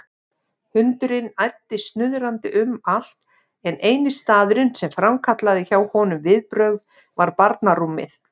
Hundurinn æddi snuðrandi um allt en eini staðurinn sem framkallaði hjá honum viðbrögð var barnarúmið.